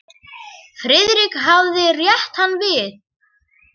Friðrik hafði rétt hann við.